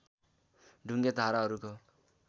ढुङ्गे धाराहरूको